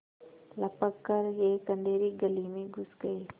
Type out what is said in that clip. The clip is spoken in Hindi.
लपक कर एक अँधेरी गली में घुस गये